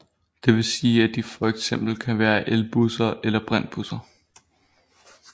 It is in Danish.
Det vil sige at de for eksempel kan være elbusser eller brintbusser